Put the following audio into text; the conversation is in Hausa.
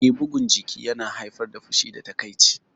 Eh, bugun jiki yana haifar da fushi da takaici